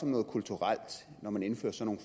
noget kulturelt når man indfører sådan